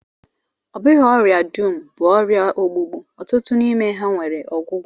Ọ bụghị ọrịa dum bụ ọrịa ogbugbu, ọtụtụ n'ime ha nwere ọgwụgwọ